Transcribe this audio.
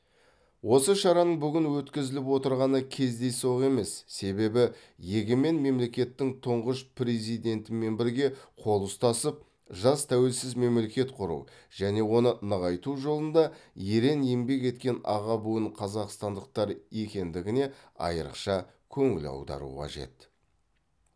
осы шараның бүгін өткізіліп отырғаны кездейсоқ емес себебі егемен мемлекеттің тұңғыш президентімен бірге қол ұстасып жас тәуелсіз мемлекет құру және оны нығайту жолында ерең еңбек еткен аға буын қазақстандықтар екендігіне айрықша көңіл аудару қажет